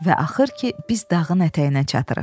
Və axır ki, biz dağın ətəyinə çatırıq.